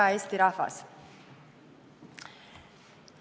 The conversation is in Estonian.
Hea Eesti rahvas!